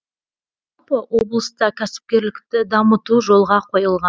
жалпы облыста кәсіпкерлікті дамыту жолға қойылған